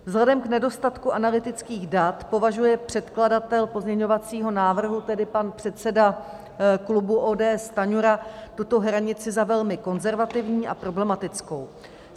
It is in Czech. Vzhledem k nedostatku analytických dat považuje předkladatel pozměňovacího návrhu, tedy pan předseda klubu ODS Stanjura, tuto hranici za velmi konzervativní a problematickou.